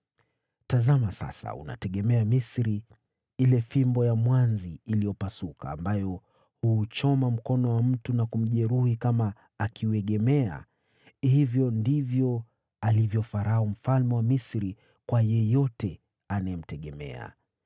Tazama sasa, unaitegemea Misri, fimbo ile ya mwanzi uliopasuka, ambayo huuchoma na kuujeruhi mkono wa mtu akiiegemea! Hivyo ndivyo alivyo Farao mfalme wa Misri, kwa wote wanaomtegemea.